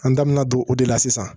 An da mɛna don o de la sisan